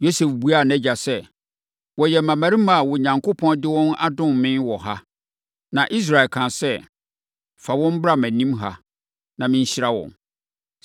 Yosef buaa nʼagya sɛ, “Wɔyɛ mmammarima a Onyankopɔn de wɔn adom me wɔ ha.” Na Israel kaa sɛ, “Fa wɔn bra mʼanim ha na menhyira wɔn.”